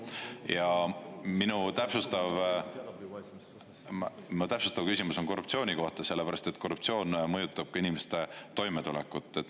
Ja minu täpsustav küsimus on korruptsiooni kohta, sellepärast et korruptsioon mõjutab ka inimeste toimetulekut.